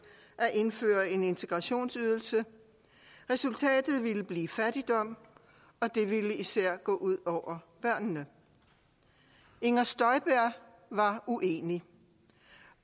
at indføre integrationsydelse resultatet ville blive fattigdom og det ville især gå ud over børnene inger støjberg var uenig